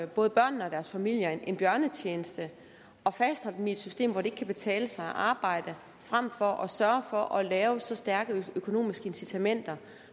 både børnene og deres familier en bjørnetjeneste at fastholde dem i et system hvor det ikke kan betale sig at arbejde frem for at sørge for at lave så stærke økonomiske incitamenter